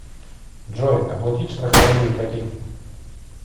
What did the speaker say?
джой оплатить страхование ипотеки